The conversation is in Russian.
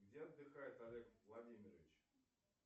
где отдыхает олег владимирович